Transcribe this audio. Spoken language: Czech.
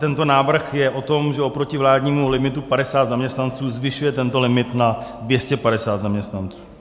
Tento návrh je o tom, že oproti vládnímu limitu 50 zaměstnanců zvyšuje tento limit na 250 zaměstnanců.